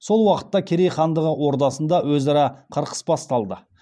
сол уақытта керей хандығы ордасында өзара қырқыс басталады